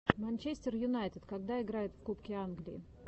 манчестер юнайтед когда играет в кубке англии